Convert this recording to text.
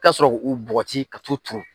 I bɛ t'a sɔrɔ k'u bɔgɔti ka t'u turu